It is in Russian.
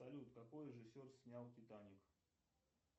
салют какой режиссер снял титаник